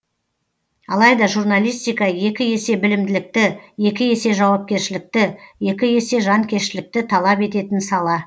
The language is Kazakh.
алайда журналистика екі есе білімділікті екі есе жауапкершілікті екі есе жанкештілікті талап ететін сала